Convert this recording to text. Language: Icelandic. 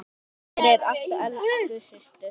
Takk fyrir allt, elsku systir.